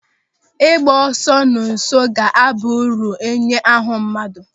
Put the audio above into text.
Ịgba ọsọ na nso ga-aba uru nye ahụ mmadụ.